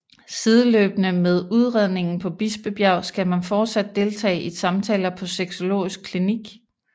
Sideløbende med udredningen på Bispebjerg skal man fortsat deltage i samtaler på Sexologisk Klinik